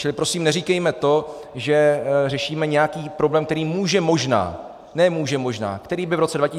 Čili prosím neříkejme to, že řešíme nějaký problém, který může možná - ne může možná, který by v roce 2020 nastal.